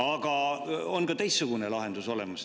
Aga on ka teistsugune lahendus olemas.